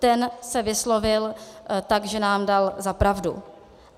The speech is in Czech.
Ten se vyslovil tak, že nám dal za pravdu.